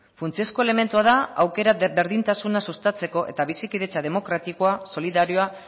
funtsezko elementua da aukera berdintasuna sustatzeko eta bizikidetza demokratikoa solidarioa